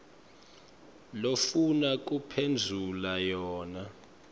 lofuna kuphendvula yona